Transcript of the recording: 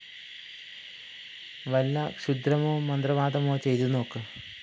വല്ല ക്ഷുദ്രമോ മന്ത്രവാദമോ ചെയ്തു നോക്ക്